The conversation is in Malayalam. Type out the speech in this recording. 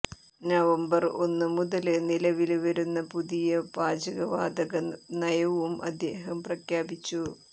നവംബര് ഒന്ന് മുതല് നിലവില് വരുന്ന പുതിയ പാചകവാതക നയവും അദ്ദേഹം പ്രഖ്യാപിച്ചു